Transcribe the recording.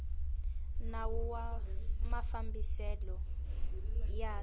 nawu wa mafambiselo ya swa